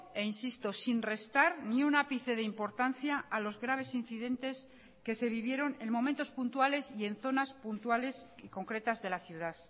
e insisto sin restar ni un ápice de importancia a los graves incidentes que se vivieron en momentos puntuales y en zonas puntuales y concretas de la ciudad